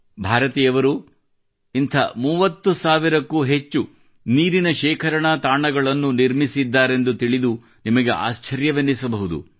ಭಾರತಿಯವರು ಇಂಥ 30 ಸಾವಿರಕ್ಕೂ ಹೆಚ್ಚು ನೀರಿನ ಶೇಖರಣಾ ತಾಣಗಳನ್ನು ನಿರ್ಮಿಸಿದ್ದಾರೆಂದು ತಿಳಿದು ನಿಮಗೆ ಆಶ್ಚರ್ಯೆನ್ನಿಸಬಹುದು